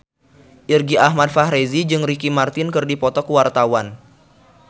Irgi Ahmad Fahrezi jeung Ricky Martin keur dipoto ku wartawan